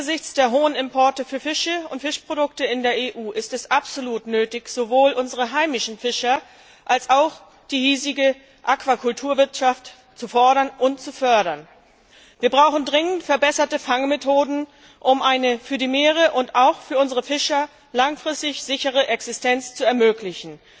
Angesichts der hohen Importe von Fischen und Fischprodukten in der EU ist es absolut nötig, sowohl unsere heimischen Fischer als auch die hiesige Aquakulturwirtschaft zu fordern und zu fördern. Wir brauchen dringend verbesserte Fangmethoden, um den Meeren und den Fischern eine langfristig sichere Existenz zu ermöglichen.